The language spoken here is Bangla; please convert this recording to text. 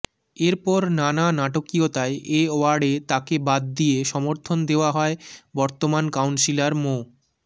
এরপর নানা নাটকীয়তায় এ ওয়ার্ডে তাকে বাদ দিয়ে সমর্থন দেয়া হয় বর্তমান কাউন্সিলর মো